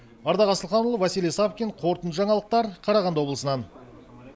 ардақ асылханұлы василий савкин қорытынды жаңалықтар қарағанды облысынан